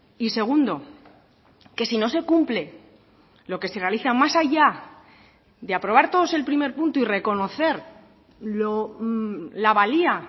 y segundo que si no se cumple lo que se realiza más allá de aprobar todos el primer punto y reconocer la valía